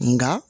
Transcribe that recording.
Nka